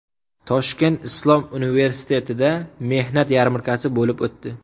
Toshkent islom universitetida mehnat yarmarkasi bo‘lib o‘tdi.